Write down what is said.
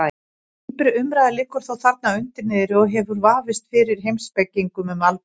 Dýpri umræða liggur þó þarna undir niðri og hefur hún vafist fyrir heimspekingum um aldir.